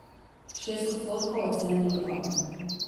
Šest odstotkov ocene ni podalo.